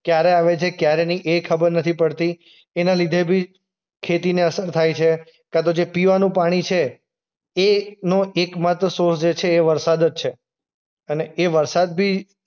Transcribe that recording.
ક્યારે આવે છે ક્યારે ની એ ખબર નથી પડતી. એના લીધે બી ખેતીને અસર થાય છે કાંતો જે પીવાનું પાણી છે એનો એકમાત્ર જે સોર્સ છે એ વરસાદ જ છે. અને એ વરસાદ બી